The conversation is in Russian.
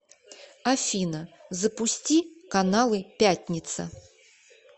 афина запусти каналы пятница